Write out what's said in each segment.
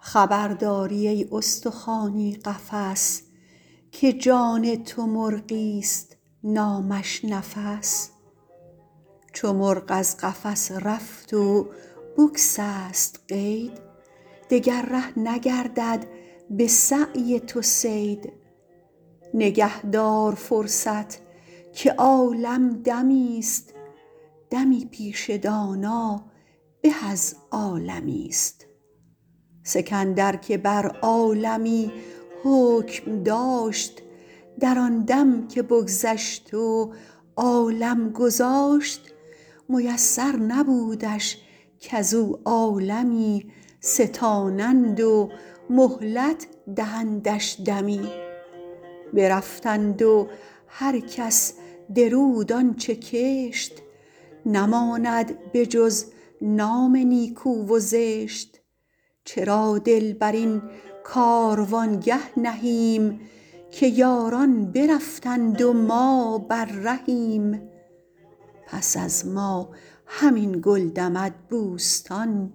خبر داری ای استخوانی قفس که جان تو مرغی است نامش نفس چو مرغ از قفس رفت و بگسست قید دگر ره نگردد به سعی تو صید نگه دار فرصت که عالم دمی است دمی پیش دانا به از عالمی است سکندر که بر عالمی حکم داشت در آن دم که بگذشت و عالم گذاشت میسر نبودش کز او عالمی ستانند و مهلت دهندش دمی برفتند و هر کس درود آنچه کشت نماند به جز نام نیکو و زشت چرا دل بر این کاروانگه نهیم که یاران برفتند و ما بر رهیم پس از ما همین گل دمد بوستان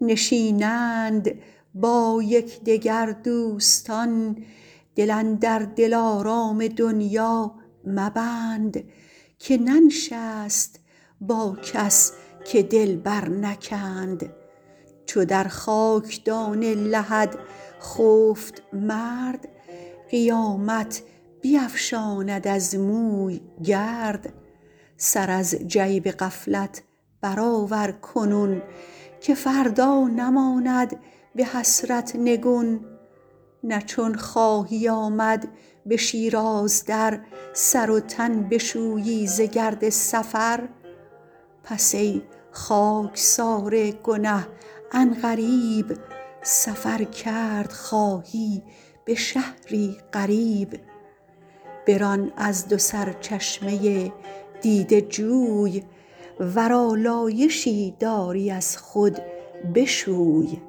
نشینند با یکدگر دوستان دل اندر دلارام دنیا مبند که ننشست با کس که دل بر نکند چو در خاکدان لحد خفت مرد قیامت بیفشاند از موی گرد سر از جیب غفلت برآور کنون که فردا نماند به حسرت نگون نه چون خواهی آمد به شیراز در سر و تن بشویی ز گرد سفر پس ای خاکسار گنه عن قریب سفر کرد خواهی به شهری غریب بران از دو سرچشمه دیده جوی ور آلایشی داری از خود بشوی